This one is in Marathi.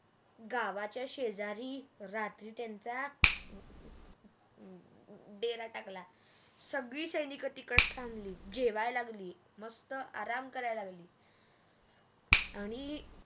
गावाच्या शेजारी रात्री त्यांचा देर टाकला सगळी सैनिक तिकड थांबली जेवाय लागली मस्त आराम कराय लागली आणि